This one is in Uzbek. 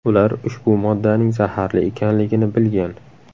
Ular ushbu moddaning zaharli ekanligini bilgan.